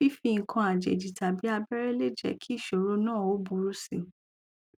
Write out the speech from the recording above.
fífi nǹkan àjèjì tàbí abẹrẹ lè jẹ kí ìsòro náà ó burú si